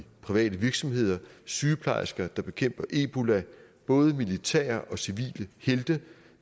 private virksomheder og sygeplejersker der bekæmper ebola de både militære og civile helte